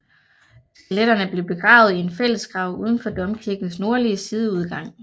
Skeletterne blev begravet i en fællesgrav uden for domkirkens nordlige sideudgang